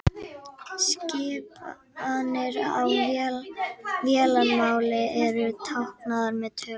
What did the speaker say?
Skipanir á vélarmáli eru táknaðar með tölum.